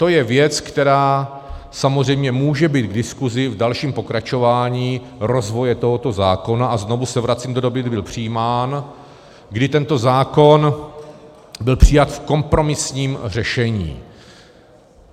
To je věc, která samozřejmě může být k diskusi v dalším pokračování rozvoje tohoto zákona, a znovu se vracím do doby, kdy byl přijímán, kdy tento zákon byl přijat v kompromisním řešení.